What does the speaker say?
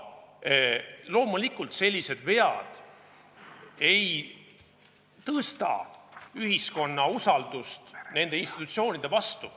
Loomulikult sellised vead ei suurenda ühiskonna usaldust nende institutsioonide vastu.